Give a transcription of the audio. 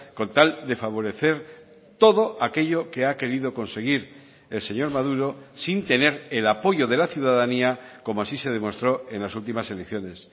con tal de favorecer todo aquello que ha querido conseguir el señor maduro sin tener el apoyo de la ciudadanía como así se demostró en las últimas elecciones